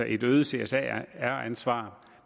et øget csr ansvar